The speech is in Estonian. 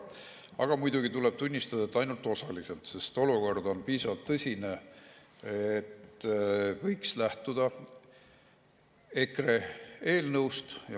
Aga muidugi tuleb tunnistada, et ainult osaliselt, sest olukord on piisavalt tõsine ja võiks lähtuda EKRE eelnõust.